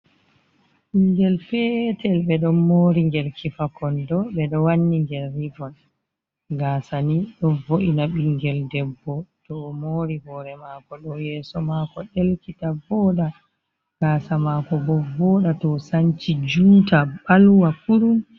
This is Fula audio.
Ɓingel petel ɓe ɗon mori ngel kifakondo beɗo wanni ngel rivon, gasa ni ɗo vo’ina ɓingel debbo to o mori, hore maako do yeso maako ɗelkita booda gasa maako bo voɗa to sanci juta, ɓalwa kurum.